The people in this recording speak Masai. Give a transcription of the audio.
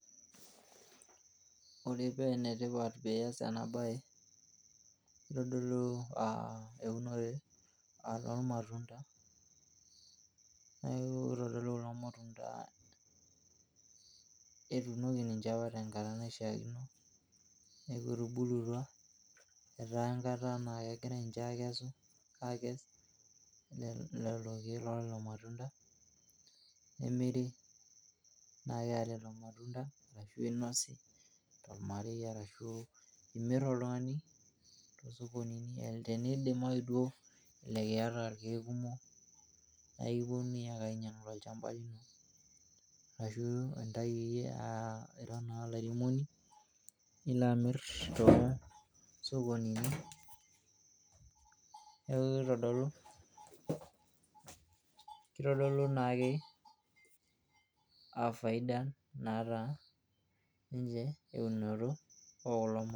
ore pee enetipat piyas ena baye itodolu uh, eunore normatunda neeku kitodolu kulo matunda etuunoki ninche apa tenkata naishiakino neeku etubulutua etaa enkata naa kegirae ninche akesu, akes lelo keek lolelo matunda nemiri naakeya lelo matunda ashu inosi tolmarei arashu imirr oltung'ani tosokonini tenidimayu duo elelek iyata irkeek kumok naikiponunui ake ainyiang tolchamba lino arashu intai iyie uh, ira naa olairemoni nilo amirr toosokonini neeku kitodolu, kitodolu naakeafaidan naata ninche eunoto okulo ma.